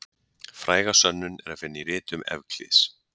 Fræga sönnun er að finna í ritum Evklíðs.